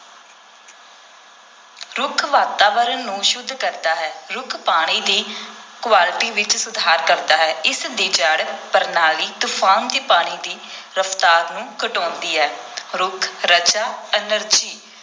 ਰੁੱਖ ਵਾਤਾਵਰਨ ਨੂੰ ਸੁੱਧ ਕਰਦਾ ਹੈ, ਰੁੱਖ ਪਾਣੀ ਦੀ quality ਵਿਚ ਸੁਧਾਰ ਕਰਦਾ ਹੈ, ਇਸ ਦੀ ਜੜ੍ਹ ਪ੍ਰਣਾਲੀ ਤੂਫਾਨ ਦੇ ਪਾਣੀ ਦੀ ਰਫਤਾਰ ਨੂੰ ਘਟਾਉਂਦੀ ਹੈ ਰੁੱਖ ਰਜਾ energy